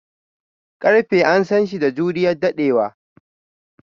Karfe an San shi da juriyan daddewa.